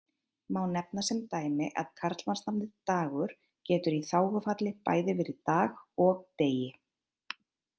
Má sem dæmi nefna að karlmannsnafnið Dagur getur í þágufalli bæði verið Dag og Degi.